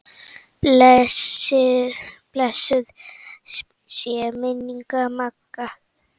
Blessuð sé minning Magga.